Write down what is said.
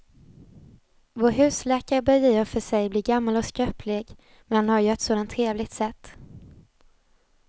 Vår husläkare börjar i och för sig bli gammal och skröplig, men han har ju ett sådant trevligt sätt!